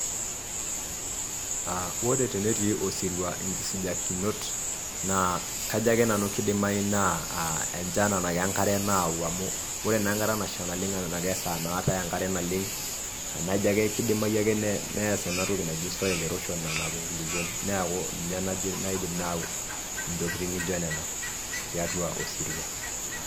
Aa ore tenetii osirua, inkisijakinot naa kajo ake nanu kidimayu naa enchan anake enkare nayau amuu, ore naa enkata nasha naleng' enake esaa naatae enchan naleng' amu ajo ake kidimayu neas ena toki naji cs[soil erosion]cs nanapi ilkulukuok neeku ninye najo naidim ayau intokiting' naijo nena tatua osirua.